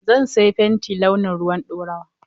Zan saya fenti launin ruwan ɗorawa.